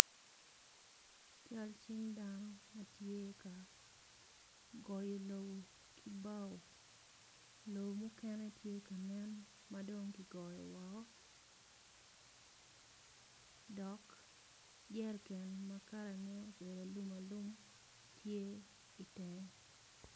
Cal cing dano matye ka goyo lobo kibao lobo mukene tye ka nen madong kigoyo woko dok jeriken ma kala ne obedo alum alum tye i tenge.